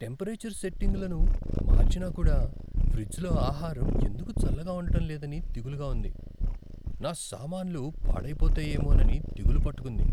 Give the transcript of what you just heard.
Temperature సెట్టింగులను మార్చినా కూడా ఫ్రిజ్లో ఆహారం ఎందుకు చల్లగా ఉండటం లేదని దిగులుగా ఉంది. నా సామాన్లు పాడైపోతాయేమోనని దిగులు పట్టుకుంది.